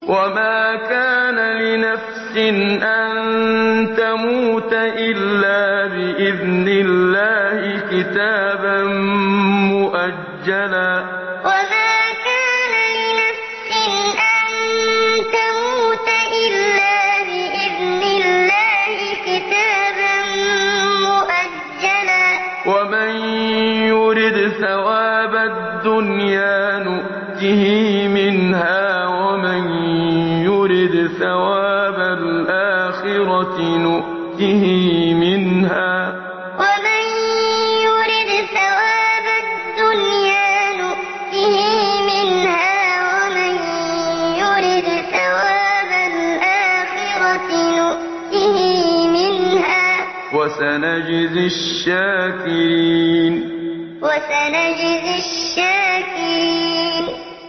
وَمَا كَانَ لِنَفْسٍ أَن تَمُوتَ إِلَّا بِإِذْنِ اللَّهِ كِتَابًا مُّؤَجَّلًا ۗ وَمَن يُرِدْ ثَوَابَ الدُّنْيَا نُؤْتِهِ مِنْهَا وَمَن يُرِدْ ثَوَابَ الْآخِرَةِ نُؤْتِهِ مِنْهَا ۚ وَسَنَجْزِي الشَّاكِرِينَ وَمَا كَانَ لِنَفْسٍ أَن تَمُوتَ إِلَّا بِإِذْنِ اللَّهِ كِتَابًا مُّؤَجَّلًا ۗ وَمَن يُرِدْ ثَوَابَ الدُّنْيَا نُؤْتِهِ مِنْهَا وَمَن يُرِدْ ثَوَابَ الْآخِرَةِ نُؤْتِهِ مِنْهَا ۚ وَسَنَجْزِي الشَّاكِرِينَ